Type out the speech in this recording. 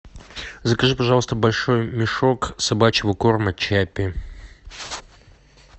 закажи пожалуйста большой мешок собачьего корма чаппи